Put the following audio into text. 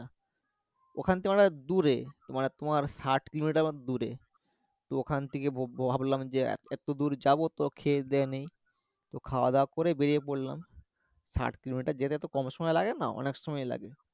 ওখান থেকে অনেকটা দূরে ওখানে তোমার ষাট কিলোমিটার মতো দূরে তো ওখান থেকে বো ভাবলাম যে এতো দূর যাবো তো খেয়ে দিয়ে নিই তো খাওয়া দাওয়া করে বেরিয়ে পড়লাম ষাট কিলোমিটার যেতে তো কম সময় লাগে না অনেক সময়ই লাগে